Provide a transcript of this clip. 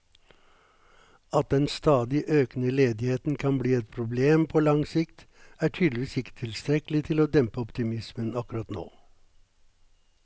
At den stadig økende ledigheten kan bli et problem på lang sikt, er tydeligvis ikke tilstrekkelig til å dempe optimismen akkurat nå.